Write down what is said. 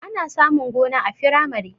Ana samun gona a firamare